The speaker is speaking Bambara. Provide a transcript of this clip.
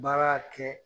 Baara kɛ